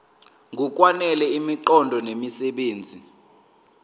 ngokwanele imiqondo nemisebenzi